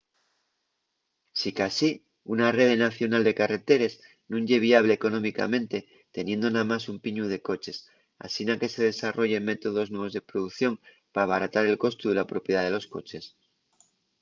sicasí una rede nacional de carreteres nun ye viable económicamente teniendo namás un piñu de coches asina que se desarrollen métodos nuevos de producción p’abaratar el costu de la propiedá de los coches